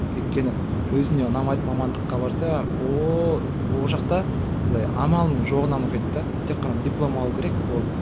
өйткені өзіне ұнамайтын мамандыққа барса ооо ол жақта амалының жоғынан оқиды да тек қана диплом алуы керек болды